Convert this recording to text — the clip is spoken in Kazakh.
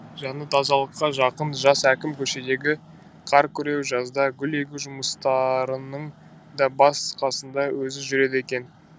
жаны тазалыққа жақын жас әкім көшедегі қар күреу жазда гүл егу жұмыстарының да бас қасында өзі жүреді екен